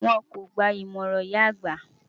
Wọn kò gba ìmọ̀ràn ìyá àgbà.